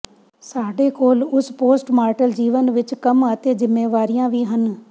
ਸਾਡੇ ਕੋਲ ਉਸ ਪੋਸਟਮਾਰਟਲ ਜੀਵਨ ਵਿਚ ਕੰਮ ਅਤੇ ਜ਼ਿੰਮੇਵਾਰੀਆਂ ਵੀ ਹਨ